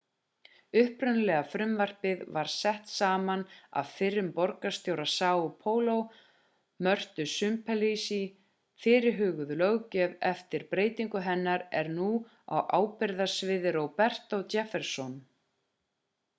upprunalega frumvarpið var sett saman af fyrrum borgarstjóra são paulo mörtu suplicy. fyrirhuguð löggjöf eftir breytingu hennar er nú á ábyrgðarsviði roberto jefferson